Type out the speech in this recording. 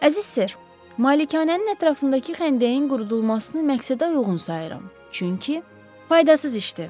Əziz ser, malikanənin ətrafındakı xəndəyin qurudulmasını məqsədəuyğun sayıram, çünki faydasız işdir.